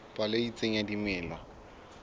palo e itseng ya dimela